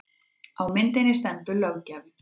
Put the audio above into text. Á myndinni stendur löggjafinn